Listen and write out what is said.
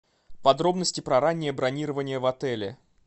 подробности про раннее бронирование в отеле